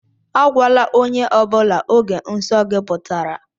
Agwala ónyé ọbula ógè nsọ gị pụtara!